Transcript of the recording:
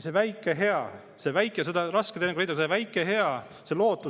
Seda on teinekord raske leida, seda väikest head, seda lootust.